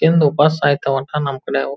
ಎಂದು ಉಪಾಸ ಸಾಯ್ಥಾವ್ ಅಂತ ನಮ್ ಕಡೆ ಅವು.